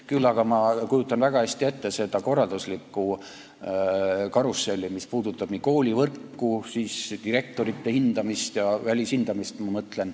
Küll aga kujutan ma väga hästi ette seda korralduslikku karusselli, mis puudutab koolivõrku ja direktorite hindamist, ma mõtlen välishindamist.